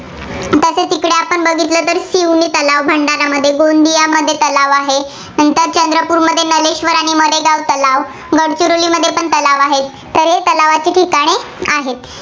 तिकडे आपण बघितलं तर शिवणे तलाव भंडारामध्ये, गोंदियामध्ये तलाव आहे. नंतर चंद्रपूरमध्ये ज्ञानेश्वर आणि मडेगाव तलाव, गडचिरोलीमध्येपण तलाव आहे, तर हे तलावाची ठिकाणे आहेत.